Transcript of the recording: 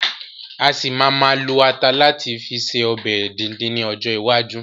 A ṣì ma ma lo ata láti fi ṣe ọbẹ̀ díndín ni ọjọ́ iwájú